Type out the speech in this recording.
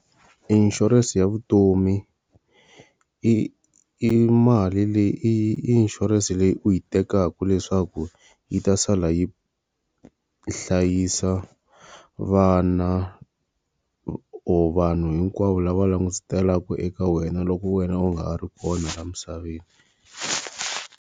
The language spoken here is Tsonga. Insurance ya vutomi. I i mali leyi i i inshurense leyi u yi tekaka leswaku yi ta sala yi hlayisa vana or vanhu hinkwavo lava langutiselaka eka wena loko wena u nga ha ri kona la misaveni.